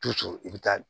Tu tu i bi taa